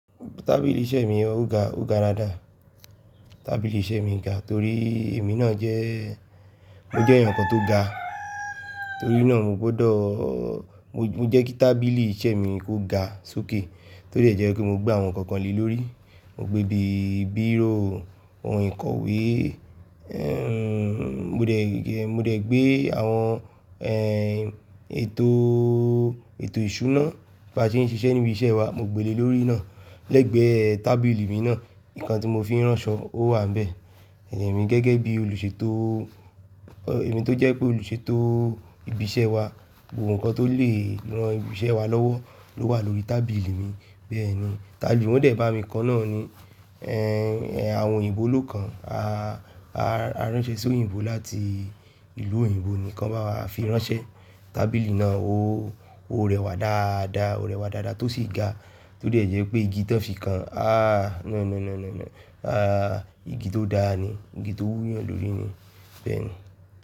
Tábìlì iṣẹ́ mi ò ga, ó ga dáadáa. Tábìlì iṣẹ́ mi ga torí èmi náà jẹ́, mo jẹ́ èèyàn kan tó ga, torí náà mo gbọ́dọ̀, mọ jẹ́ kí tábìlì iṣẹ́ mi kó ga sókè tó de jẹ́ pé mo gbé àwọn nǹkan kan lé lórí. Mo gbé bí bírò, ohùn ìkọ̀wé, ẹ́ n, mo dẹ̀, mo dẹ̀ gbé àwọn ẹ́ ètò, ètò ìṣúná bá ṣe ń ṣiṣẹ́ ní ibi iṣẹ́ wa, mo gbé lé lórí náà. Lẹ́gbẹ̀ẹ́ tábìlì mi náà, ǹkan tí mo fi ń ránṣọ ó wà níbẹ̀. Ẹ̀mi gẹ́gẹ́ bí olùṣètò, èmi tó jẹ́ pé olùṣètò ibi iṣẹ́ wa, gbogbo nǹkan tó lè ran ibi iṣẹ́ wa lọ́wọ́ ló wà lórí tábìlì mi. Bẹ́ẹ̀ ni, tábì wọ́n dẹ̀ bá mi ko náà ni ẹ́ àwọn òyìnbó ló kan, a, a ránṣẹ́ sóyìnbó láti ìlú òyìnbó ni kan bá wà fi ránṣẹ́. Tábìlì náà ó, ó rẹwà dáadáa, ó rẹwà dáadáa tó sì ga, tó dè jépé igi tan fi kan a, no, no, no, no, no, a igi tó dáa ni, igi tó wúyàn lórí ni. Bẹ́ẹ̀ ni.